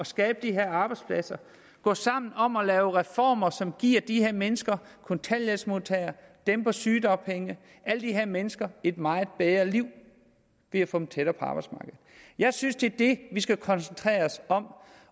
skabe de her arbejdspladser gå sammen om at lave reformer som giver de her mennesker kontanthjælpsmodtagere dem på sygedagpenge alle de her mennesker et meget bedre liv ved at få dem tættere på arbejdsmarkedet jeg synes det er det vi skal koncentrere os om